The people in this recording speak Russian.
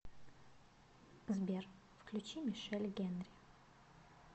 сбер включи мишель хенри